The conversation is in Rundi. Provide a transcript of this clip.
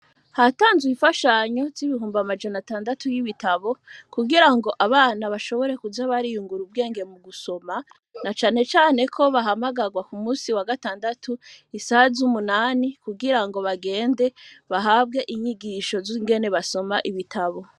Hatanzwe imfashanyo, z'ibihumbi amajana atandatu y'ibitabo, kugira ngo abana,l bashobore kuza bariyungura, ubwenge mu gusoma; na cane cane ko, bahamagarwa, ku munsi wa gatandatu, isa z'umunani, kugira bagende, bahabwe inyigisho z'ingene basoma ibitabo.